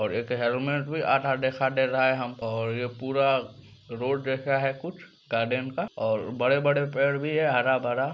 और एक हैलमेट भी आधा देखाब दे रहा है हम और ये पूरा रोड जैसा है कुछ गार्डेन का और बड़े-बड़े पेड़ भी है हरा-भरा।